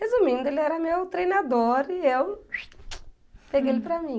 Resumindo, ele era meu treinador e eu peguei ele para mim.